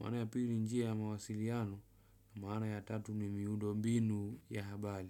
maana ya pili njia ya mawasiliano, maana ya tatu ni miundombinu ya habali.